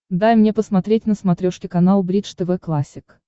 дай мне посмотреть на смотрешке канал бридж тв классик